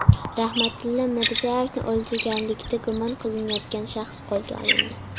Rahmatilla Mirzayevni o‘ldirganlikda gumon qilinayotgan shaxs qo‘lga olindi.